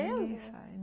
É mesmo?